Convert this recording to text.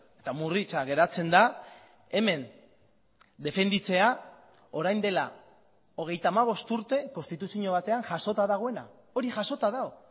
eta murritza geratzen da hemen defenditzea orain dela hogeita hamabost urte konstituzio batean jasota dagoena hori jasota dago